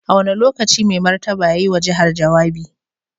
A wane lokaci Mai Martaba ya yi wa jihar jawabi?